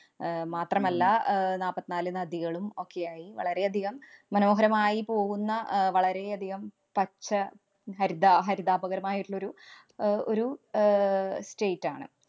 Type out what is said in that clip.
അഹ് മാത്രമല്ല, അഹ് നാപ്പത്തിനാല് നദികളും ഒക്കെയായി വളരെയധികം മനോഹരമായി പോകുന്ന അഹ് വളരെയധികം പച്ച ഹരിതാ ഹരിതാഭകരമായിട്ടുള്ളൊരു അഹ് ഒരു ആഹ് state ആണ്.